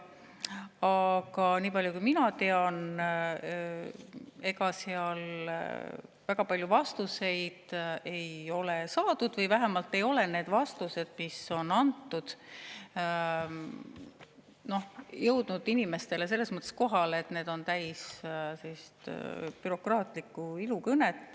Aga nii palju kui mina tean, ega seal väga palju vastuseid ei ole saadud või vähemalt ei ole need vastused, mis on antud, jõudnud inimestele selle tõttu kohale, et need on täis bürokraatlikku ilukõnet.